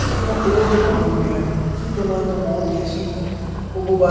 ओ देखो कोट ही कोट पड़या है सी के मायने तो कोट ही आसी ओ बारे --